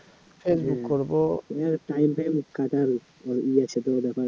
time time কাটারও ই আছে